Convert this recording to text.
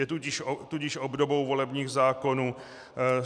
Je tudíž obdobou volebních zákonů.